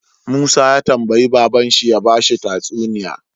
Musa ya tambayi babban shi ya bashi tatsuniya